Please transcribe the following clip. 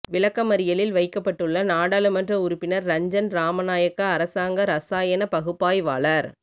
விளக்கமறியலில் வைக்கப்பட்டுள்ள நாடாளுமன்ற உறுப்பினர் ரஞ்சன் ராமநாயக்க அரசாங்க இராசாயன பகுப்பாய்வாளர்